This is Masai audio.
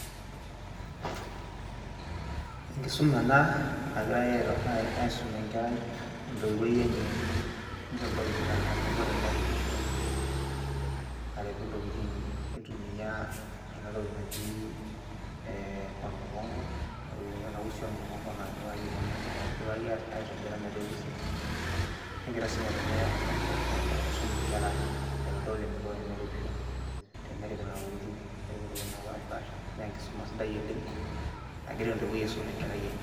Enkisuma ena nagirai aisum enkerai entoiwoi enye nitodolita enaiko teneripisho aripu ntokitin aitumia ena toki naji ormukonko, kuna tokitin ena usi ormukonko naidipaki aitobira metaa eusi ormukonko. Negiraa sii ng'otonye aisum nkera aitodol eniko teneripisho, tenerip nena tokitin nirip ntokitin napaashipaasha naa enkisuma sidai oleng' nagira entoiwoi aisum enkerai enye.